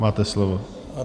Máte slovo.